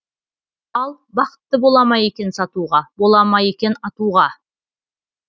ал бақытты бола ма екен сатуға бола ма екен атуға